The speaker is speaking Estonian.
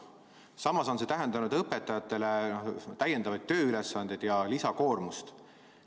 Samas on see tähendanud õpetajatele täiendavaid tööülesanded ja lisakoormust.